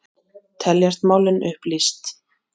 Teljast málin upplýst